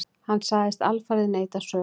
Hann sagðist alfarið neita sök.